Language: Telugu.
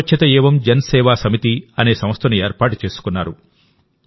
యువ స్వచ్ఛత ఏవం జన్ సేవా సమితి అనే సంస్థను ఏర్పాటు చేసుకున్నారు